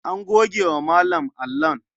An goge wa Malam allon.